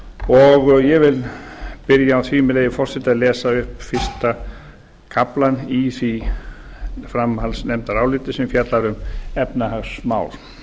og ég vil byrja á því með leyfi forseta að lesa upp fyrsta kaflann í því framhaldsnefndaráliti sem fjallar um efnahagsmál